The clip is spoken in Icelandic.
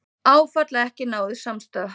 Áfall að ekki náðist samstaða